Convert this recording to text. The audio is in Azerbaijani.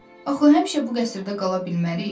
Axı həmişə bu qəsrdə qala bilmərik.